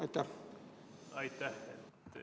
Aitäh!